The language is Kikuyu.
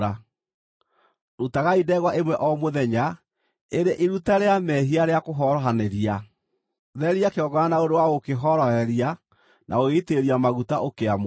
Rutagai ndegwa ĩmwe o mũthenya, ĩrĩ iruta rĩa mehia rĩa kũhorohanĩria. Theria kĩgongona na ũndũ wa gũkĩhoroheria na gũgĩitĩrĩria maguta, ũkĩamũre.